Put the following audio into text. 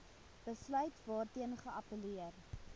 besluit waarteen geappelleer